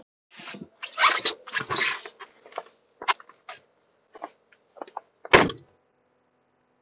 Einkum hafa fyrri liðirnir umhverfis- og vist- keppt um hylli fólks.